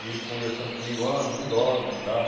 E ele conversando comigo, ó, não dorme e tal.